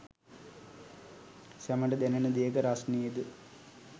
සැමට දැනෙන දෙයක රස්නේද